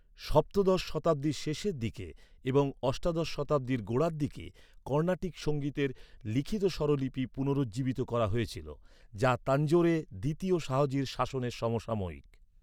সপ্তদশ শতাব্দীর শেষের দিকে এবং অষ্টাদশ শতাব্দীর গোড়ার দিকে কর্ণাটিক সঙ্গীতের লিখিত স্বরলিপি পুনরুজ্জীবিত করা হয়েছিল, যা তানজোরে দ্বিতীয় শাহজির শাসনের সমসাময়িক।